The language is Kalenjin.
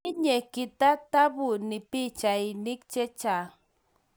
Tinye kitatabuni pichainik chechang